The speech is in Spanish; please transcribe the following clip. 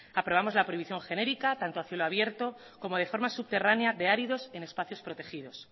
aprobamos la prohibición genérica tanto a cielo abierto como de forma subterránea de áridos en espacios protegidos